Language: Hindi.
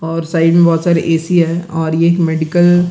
और साइड में बहुत सारे है और मेडिकल --